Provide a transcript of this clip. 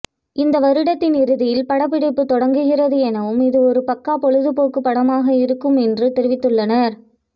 இந்த வருடத்தின் இறுதியில் படப்பிடிப்பு தொடங்கிறது எனவும் இது ஒரு பக்கா பொழுதுபோக்குபடமாக இருக்கும் என்று தெரிவித்து உள்ளனர்